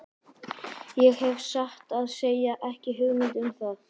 Ég hef satt að segja ekki hugmynd um það.